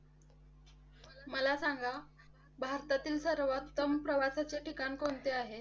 मला सांगा भारतातील सर्वात कमी प्रवासाचे ठिकाण कोणते आहे?